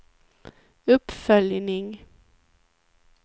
uppföljning